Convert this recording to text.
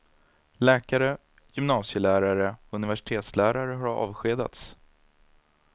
Läkare, gymnasielärare och universitetslärare har avskedats.